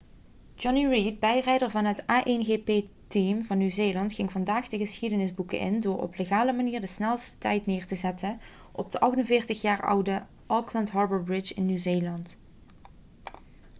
jonny reid bijrijder van het a1gp-team van nieuw-zeeland ging vandaag de geschiedenis boeken in door op legale manier de snelst tijd neer te zetten op de 48-jaar oude auckland harbour bridge in nieuw-zeeland